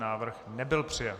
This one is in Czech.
Návrh nebyl přijat.